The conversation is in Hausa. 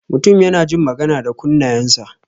Mutum yana jin magana da kunnayan sa.